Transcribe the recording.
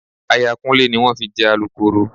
Aya Kúnlé ni wọ́n fi jẹ Alukooro